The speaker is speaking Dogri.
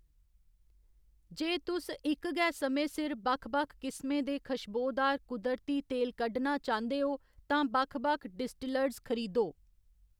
जे तुस इक गै समें सिर बक्ख बक्ख किसमें दे खशबोदार कुदरती तेल कड्ढना चांह्‌‌‌दे हो, तां बक्ख बक्ख डिस्टिलर्स खरीदो।